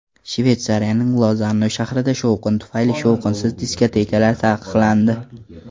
Shveysariyaning Lozanna shahrida shovqin tufayli shovqinsiz diskotekalar taqiqlandi.